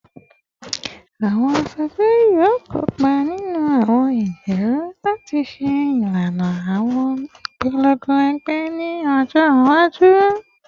Awọn aṣoju yoo kopa ninu awọn ijiroro lati ṣe ilana awọn ipolongo ẹgbẹ ni ọjọ iwaju